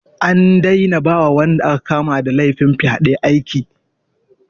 An daina ba wa wanda aka kama da laifin fyaɗe aiki.